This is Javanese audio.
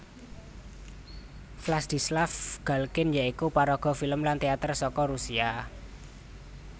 Vladislav Galkin ya iku paraga filem lan téater saka Rusia